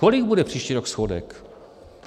Kolik bude příští rok schodek?